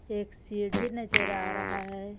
एक सीडी नजर आ रहा हे.